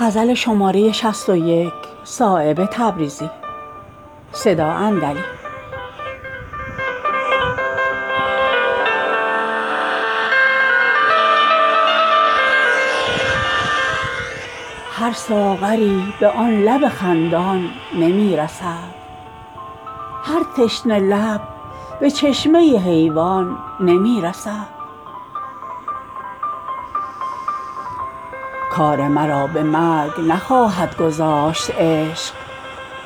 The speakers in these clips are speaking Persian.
هر ساغری به آن لب خندان نمی رسد هر تشنه لب به چشمه حیوان نمی رسد آه من است در دل شب های انتظار طومار شکوه ای که به پایان نمی رسد عاشق کجا و بوسه آن لعل آبدار آب گهر به خار مغیلان نمی رسد از جوش عاشقان نشود تنگ خلق عشق تنگی ز کاروان به بیابان نمی رسد کارم به مرگ نخواهد گذاشت عشق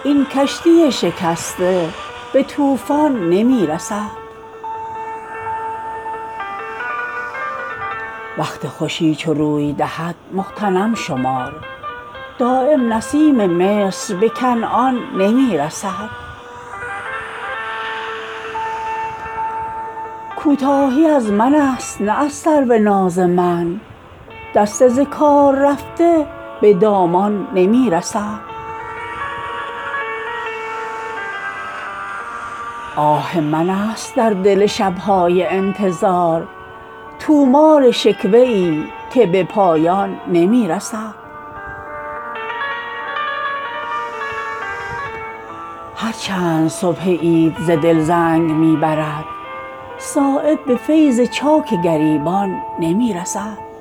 این کشتی شکسته به طوفان نمی رسد در کشوری که پاره دل خرج می شود انگشتری به داد سلیمان نمی رسد وقت خوشی چو روی دهد مغتنم شمار دایم نسیم مصر به کنعان نمی رسد کوتاهی از من است نه از سرو ناز من دست ز کار رفته به دامان نمی رسد هرچند صبح عید ز دل زنگ می برد صایب به فیض چاک گریبان نمی رسد